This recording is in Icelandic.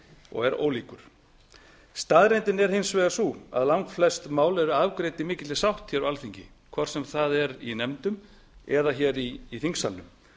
og er ólíkur staðreyndin er hins vegar sú að langflest mál eru afgreidd í mikilli sátt hér á alþingi hvort sem það er í nefndum eða hér í þingsalnum